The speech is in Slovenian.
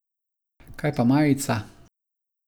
Kaj pa majica?